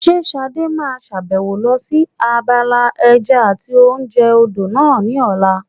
Ṣé Ṣadé máa sàbẹ̀wò lọ sí abala ẹja àti oúnjẹ odò náà ní ọ̀la?